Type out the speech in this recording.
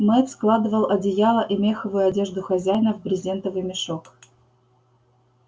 мэтт складывал одеяла и меховую одежду хозяина в брезентовый мешок